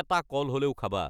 এটা কল হ'লেও খাবা।